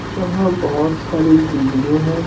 जहाँ बहुत सारी बिल्डिंगे हैं।